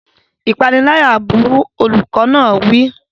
Ìpániláyà burú! Olùkọ́ náà wí.